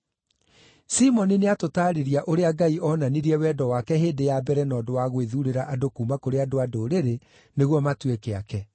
Simoni nĩatũtaarĩria ũrĩa Ngai oonanirie wendo wake hĩndĩ ya mbere na ũndũ wa gwĩthuurĩra andũ kuuma kũrĩ andũ-a-Ndũrĩrĩ nĩguo matuĩke aake.